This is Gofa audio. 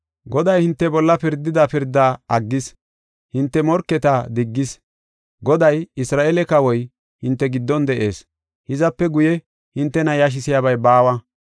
Goday hinte bolla pirdida pirdaa aggis; hinte morketa diggis. Goday, Isra7eele kawoy hinte giddon de7ees; hizape guye hintena yashisiyabay baawa.